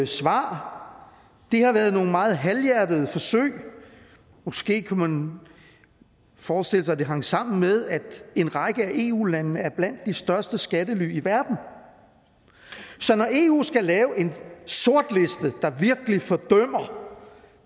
svar har været nogle meget halvhjertede forsøg måske kunne man forestille sig at det hang sammen med at en række af eu landene er blandt de største skattely i verden så når eu skal lave en sortliste der virkelig fordømmer